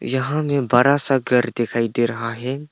यहां में बड़ा सा घर दिखाई दे रहा है।